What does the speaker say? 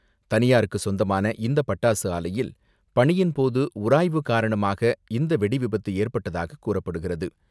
தனியாருக்கு சொந்தமான இந்த பட்டாசு ஆலையில் பணியின் போது உராய்வு காரணமாக இந்த வெடி விபத்து ஏற்பட்டதாக கூறப்படுகிறது.